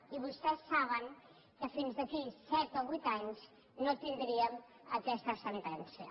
i vostès saben que fins d’aquí a set o vuit anys no tindríem aquesta sentència